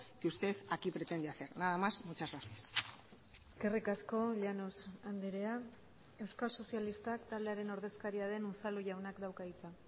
que usted aquí pretende hacer nada más muchas gracias eskerrik asko llanos andrea euskal sozialistak taldearen ordezkaria den unzalu jaunak dauka hitza